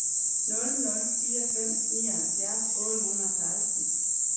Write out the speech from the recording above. nul nul fire fem nioghalvfjerds otte hundrede og seksten